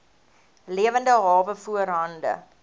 lewende hawe voorhande